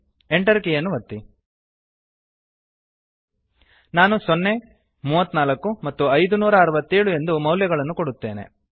Enter ಕೀಯನ್ನು ಒತ್ತಿ ನಾನು ಸೊನ್ನೆ ಮೂವತ್ನಾಲ್ಕು ಮತ್ತು ಐದುನೂರಾಅರವತ್ತೇಳು ಎಂದು ಮೌಲ್ಯಗಳನ್ನು ಕೊಡುತ್ತೇನೆ